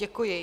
Děkuji.